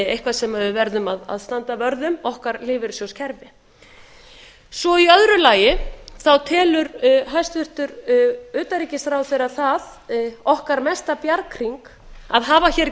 eitthvað sem við verðum að standa vörð um okkar lífeyrissjóðskerfi í öðru lagi telur hæstvirts utanríkisráðherra það okkar mesta bjarghring að hafa hér